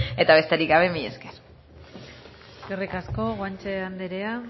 eta besterik gabe mila esker eskerrik asko guanche andrea